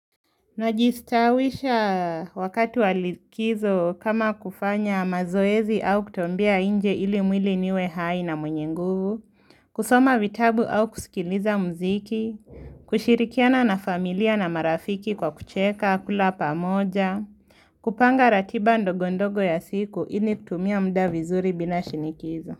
Najistawisha wakati wa likizo kama kufanya mazoezi au kutembea inje ili mwili niwe hai na mwenye nguvu, kusoma vitabu au kusikiliza mziki, kushirikiana na familia na marafiki kwa kucheka kula pamoja, kupanga ratiba ndogondogo ya siku ili kutumia mda vizuri bila shinikizo.